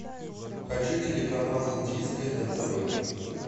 хочу телеканал индийское на тв